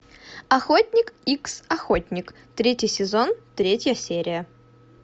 охотник икс охотник третий сезон третья серия